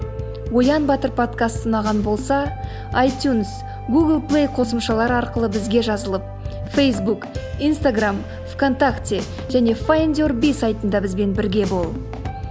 оян батыр подкасты ұнаған болса айтюнс гугл плей қосымшалары арқылы бізге жазылып фейсбук инстаграмм в контакте және файндюрби сайтында бізбен бірге бол